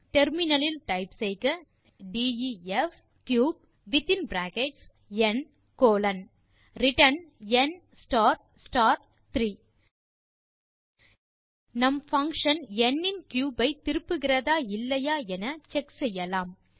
terminal லில் type செய்க def cube within bracket n colon return n star star 3 நம் function எண்ணின் cube ஐ திருப்புகிறதா இல்லையா என செக் செய்யலாம்